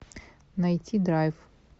найти драйв